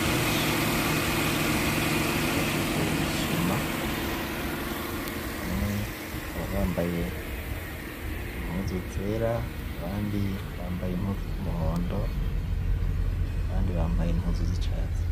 benshi baje gusuma, bakaba bambaye impuzu zera, abandi bambaye impuzu z’umuhondo abandi bambaye impuzu z’icatsi.